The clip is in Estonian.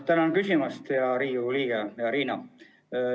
Tänan küsimast, hea Riigikogu liige Riina!